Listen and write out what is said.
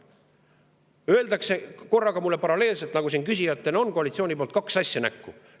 Mulle öeldakse korraga ja paralleelselt, nagu siin küsijad koalitsiooni poolt on, kaks asja näkku.